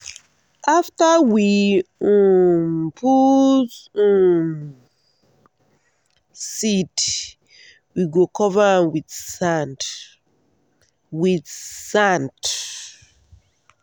after we um put um seed we go cover am with sand. with sand.